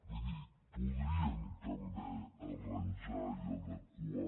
vull dir podríem també arranjar i adequar